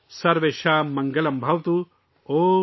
سرویشم منگلم بھواتو